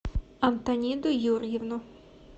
антониду юрьевну